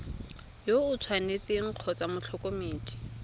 yo o tshwanetseng kgotsa motlhokomedi